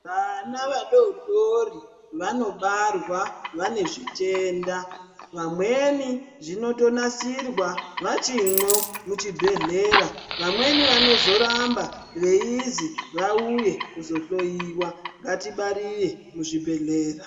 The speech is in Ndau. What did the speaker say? Vana vadodori vanobarwa vane zvitenda vamweni zvinotonasirwa vachimwo muchibhedhlera vamweni vanozoramba veizi vauye kuzohloyiwa ngatibarire muzvibhedhlera.